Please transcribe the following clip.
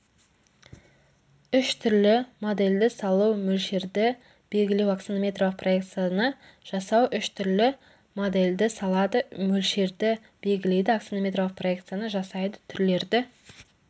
үш түрлі модельді салу мөлшерді белгілеу аксонометриялық проекцияны жасау үш түрлі модельді салады мөлшерді белгілейді аксонометриялық проекцияны жасайды түрлерді